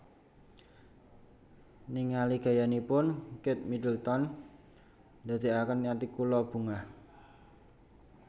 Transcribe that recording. Ningali gayanipun Kate Middleton ndadeaken ati kula bungah